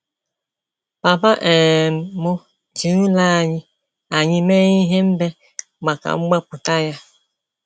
Papa um m ji ụlọ anyị anyị mee ihe mbé maka mgbapụta ya